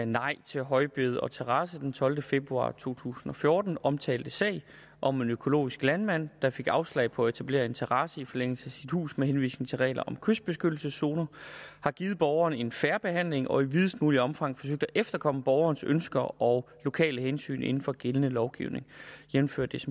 nej til højbed og terrasse den tolvte februar to tusind og fjorten omtalte sag om en økologisk landmand der fik afslag på at etablere en terrasse i forlængelse af sit hus med henvisning til reglerne om kystbeskyttelseszoner har givet borgeren en fair behandling og i videst muligt omfang forsøgt at efterkomme borgerens ønsker og lokale hensyn inden for gældende lovgivning jævnfør